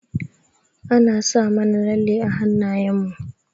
An sa mana lalle a hanayen mu.